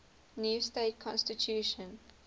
new state constitution